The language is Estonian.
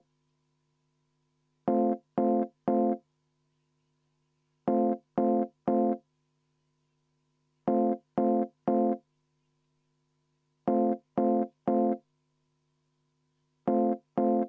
Poolt 49, vastuolijaid ja erapooletuid ei ole.